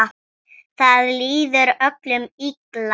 Það líður öllum illa.